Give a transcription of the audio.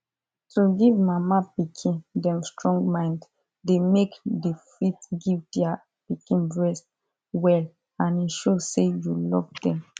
to give mama pikin them strong mind dey make the fit give their pikin breast well and e show say you love them